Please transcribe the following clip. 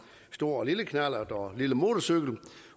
stor og lille knallert og lille motorcykel med